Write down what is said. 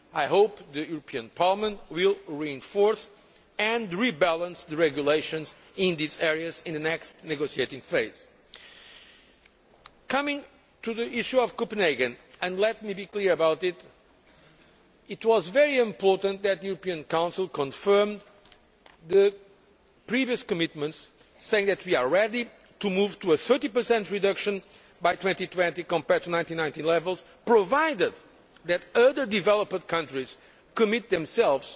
I hope the European Parliament will reinforce and rebalance the regulations in these areas in the next negotiating phase. Coming to the issue of Copenhagen, and let me be clear about this it was very important that the European Council confirmed the previous commitments saying that we are ready to move to a 30 reduction by 2020, compared to 1990 levels, provided that other developed countries commit themselves